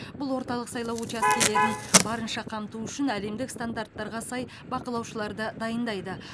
бұл орталық сайлау учаскелерін барынша қамту үшін әлемдік стандарттарға сай бақылаушыларды дайындайды